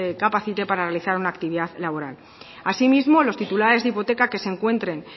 incapacite para realizar una actividad laboral asimismo los titulares de hipoteca que se encuentren